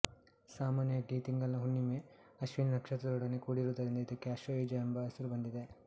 ಸಾಮಾನ್ಯವಾಗಿ ಈ ತಿಂಗಳಿನ ಹುಣ್ಣಿಮೆ ಅಶ್ವಿನಿ ನಕ್ಷತ್ರದೊಡನೆ ಕೂಡಿರುವುದರಿಂದ ಇದಕ್ಕೆ ಆಶ್ವಯುಜ ಎಂಬ ಹೆಸರು ಬಂದಿದೆ